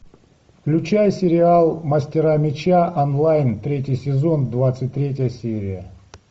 включай сериал мастера меча онлайн третий сезон двадцать третья серия